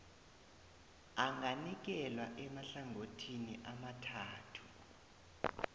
anganikelwa emahlangothini amathathu